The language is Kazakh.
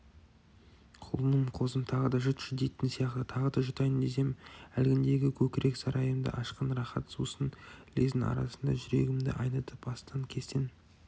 құлыным қозым тағы да жұтшы дейтін сияқты тағы да жұтайын десем әлгіндегі көкірек сарайымды ашқан рақат сусын лездің арасында жүрегімді айнытып астан-кестен